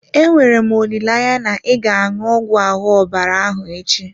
Enwere m olileanya na ị ga-aṅụ ọgwụ ahụ ọbara ahụ echi?